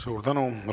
Suur tänu!